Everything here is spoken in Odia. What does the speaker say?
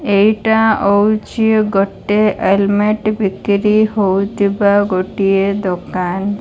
ଏଇଟା ଅଉଚି ଗୋଟେ ହେଲମେଟ ବିକିରି ହଉଥିବା ଗୋଟିଏ ଦୋକାନ।